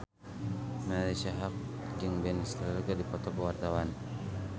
Marisa Haque jeung Ben Stiller keur dipoto ku wartawan